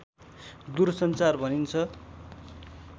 दूरसञ्चार भनिन्छ